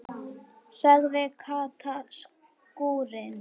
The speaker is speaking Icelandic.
sagði Kata stúrin.